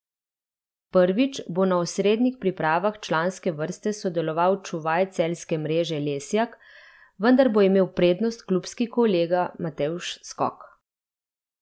Prvič bo na osrednjih pripravah članske vrste sodeloval čuvaj celjske mreže Lesjak, vendar bo imel prednost klubski kolega Matevž Skok.